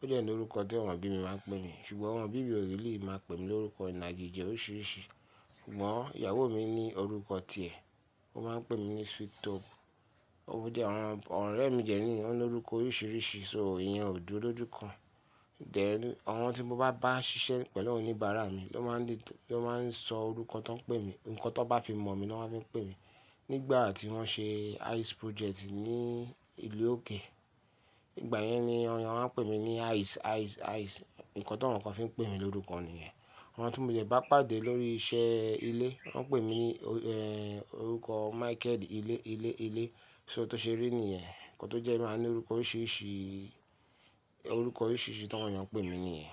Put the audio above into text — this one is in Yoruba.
ó dẹ̀ ní orúkọ tí àwọn òbí mi máa ń pè mi, ṣùgbọ́n àwọn òbí mi lè máa pè mi ní orúkọ ìnagijẹ̀ oríṣìíríṣìí. Ṣùgbọ́n ìyàwó mi ní orúkọ tiẹ̀, ó máa ń pè mí ní sweet talk. Òdi àwọn ọ̀rẹ́ mi jẹ́ ní, wọ́n ní orúkọ oríṣìíríṣìí, só ìyẹn ò dúró jú kan. Then àwọn tí mo bá bá ṣiṣẹ́ pẹ̀lú oníbàárà mi ló máa le to- ló máa ń sọ orúkọ tó ń pè mí, nǹkan tó bá fi mọ̀ mi ni wọ́n máa fi ń pè mí. Nígbà tí wọ́n ṣe Ice project ní ìlú òkè, ìgbà yẹn ni àwọn èèyàn máa ń pè mí ní ice, ice, ice. Ǹkan tó àwọn kan fi ń pè mí lórúkọ nìyẹn. Àwọn tí mo jẹ bá pàdé lórí iṣẹ́ ilé, wọ́n pè mí ní ẹ́ orúkọ Michael ilé, ilé, ilé. So tó ṣe rí nìyẹn, nǹkan tó jẹ́ màá ní orúkọ oríṣìíríṣìí, orúkọ oríṣìíríṣìí tí àwọn èèyàn ń pè mí nìyẹn.